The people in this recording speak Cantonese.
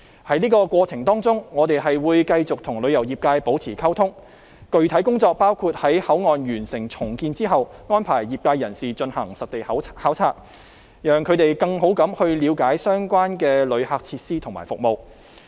在這個過程當中，我們會繼續跟旅遊業界保持溝通，具體工作包括在口岸完成重建後，安排業界人士進行實地考察，讓他們更好地了解相關旅客設施和服務。